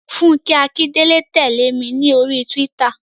Fúnkẹ́ Akíndélé tẹ̀lé mi ní oríi túwítà